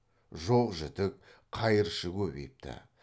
жоқ жітік қайыршы көбейіпті